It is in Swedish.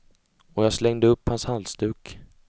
Och jag slängde upp hans halsduk.